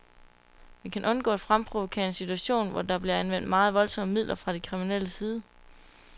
Vi skal undgå at fremprovokere en situation, hvor der bliver anvendt meget voldsomme midler fra de kriminelles side.